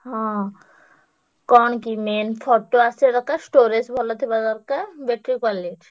ହଁ ହଁ କଣ କି main photo ଆସିବା ଦରକାର storage ଭଲ ଥିବା ଦରକାର ।